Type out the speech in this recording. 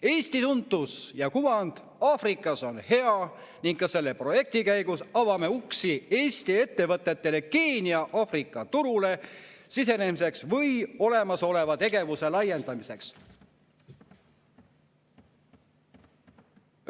"Eesti tuntus ja kuvand Aafrikas on hea ning ka selle projekti käigus avame uksi Eesti ettevõtetele Keenia/Aafrika turule sisenemiseks või olemasoleva tegevuse laiendamiseks.